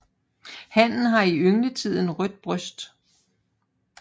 Hannen har i yngletiden rødt bryst